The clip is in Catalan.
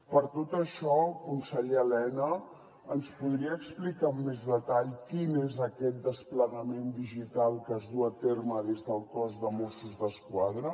per tot això conseller elena ens podria explicar amb més detall quin és aquest desplegament digital que es duu a terme des del cos de mossos d’esquadra